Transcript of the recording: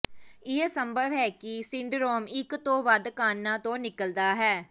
ਇਹ ਸੰਭਵ ਹੈ ਕਿ ਸਿੰਡਰੋਮ ਇਕ ਤੋਂ ਵੱਧ ਕਾਰਣਾਂ ਤੋਂ ਨਿਕਲਦਾ ਹੈ